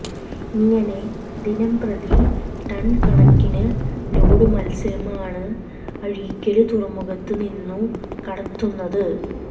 ഇങ്ങനെ ദിനംപ്രതി ടണ് കണക്കിന് ലോഡ് മത്സ്യമാണ് അഴീക്കല് തുറമുഖത്തു നിന്നു കടത്തുന്നത്